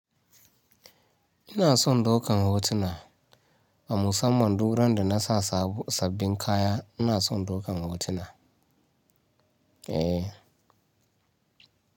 Ina son daukan hotuna. A musamman du randa nasa sabbin kaya ina son dokan hotuna. Eh.